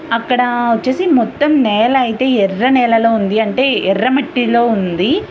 అక్కడా వచ్చేసి మొత్తం నేల అయితే ఎర్ర నేలలో ఉంది. అంటే ఎర్ర మట్టిలో ఉంది.